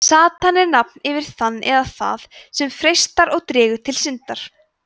satan er nafn yfir þann eða það sem freistar og dregur til syndar